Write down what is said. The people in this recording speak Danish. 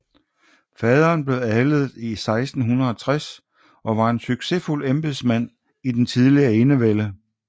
Faderen blev adlet 1660 og var en succesfuld embedsmand i den tidlige enevælde